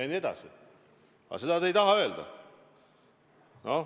Aga seda te ei taha öelda.